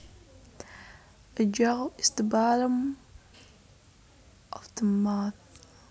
A jaw is the bottom of the mouth